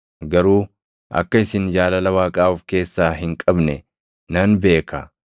garuu akka isin jaalala Waaqaa of keessaa hin qabne nan beeka.